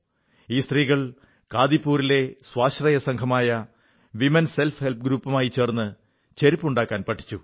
ഈ സ്ത്രീകൾ കാദിപൂരിലെ സ്വാശ്രയസംഘമായ വിമൻ സെൽഫ് ഹെല്പ് ഗ്രൂപ്പുമായി ചേർന്ന് ചെരുപ്പുണ്ടാക്കാൻ പഠിച്ചു